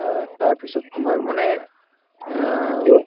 অ, তাৰপিছত তোমাৰ মানে অ